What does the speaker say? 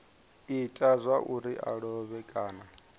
ita zwauri a lovhe kana